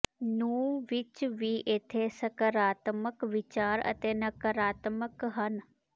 ਨੂੰ ਵਿਚ ਵੀ ਉਥੇ ਸਕਾਰਾਤਮਕ ਵਿਚਾਰ ਅਤੇ ਨਕਾਰਾਤਮਕ ਹਨ